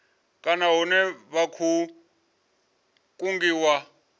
kana hune vha khou kungiwa